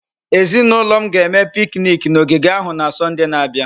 Ezinụlọ m ga-eme piknik na ogige ahụ na Sọnde na-abịa.